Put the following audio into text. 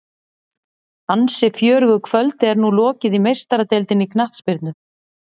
Ansi fjörugu kvöldi er nú lokið í Meistaradeildinni í knattspyrnu.